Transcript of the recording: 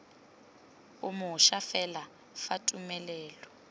o mošwa fela fa tumelelo